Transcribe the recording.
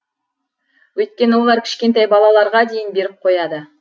өйткені олар кішкентай балаларға дейін беріп қояды